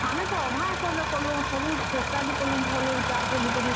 ଆମେ ତ ଅଧା ଏକର୍ ଥି କଲୁଁ, ଆଉ ସବୁ କଲୁଁ ଭଲ୍ ହଉ ଚାଷ୍ ବଲିକରି।